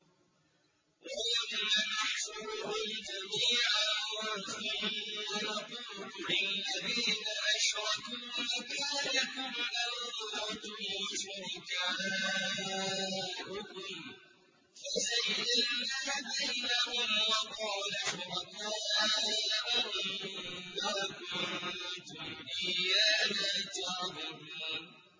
وَيَوْمَ نَحْشُرُهُمْ جَمِيعًا ثُمَّ نَقُولُ لِلَّذِينَ أَشْرَكُوا مَكَانَكُمْ أَنتُمْ وَشُرَكَاؤُكُمْ ۚ فَزَيَّلْنَا بَيْنَهُمْ ۖ وَقَالَ شُرَكَاؤُهُم مَّا كُنتُمْ إِيَّانَا تَعْبُدُونَ